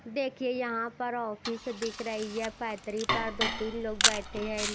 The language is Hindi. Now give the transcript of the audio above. देखिए यहां पर ऑफिस दिख रही है फैतरी पर दो-तीन लोग बैठे हैं।